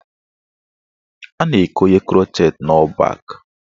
A na-ekonye krọchet n' ọ́ọ̀ bak.